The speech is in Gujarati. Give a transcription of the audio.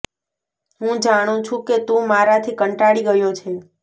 હું જાણું છું કે તું મારાથી કંટાળી ગયો છે